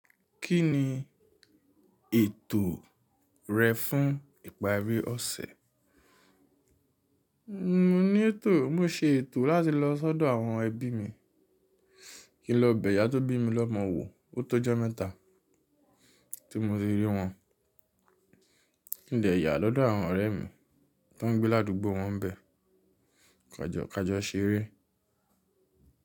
Kí ni ètò rẹ fún ìparí ọ̀sẹ̀? Mo ní ètò, mo ṣe ètò láti lọ sọ́dọ̀ àwọn ẹbí mi. Kí n lọ bẹ̀ ìyá tó bí mi lọ́mọ wò, ó tó jẹ́ mẹ́ta tí mo ti rí wọn. Kí n dẹ̀ yà lọ́dọ̀ àwọn ọ̀rẹ́ mi tó ń gbé ládùúgbò wọ́n bẹ̀. Kàjọ̀ kàjọ̀ ṣeré.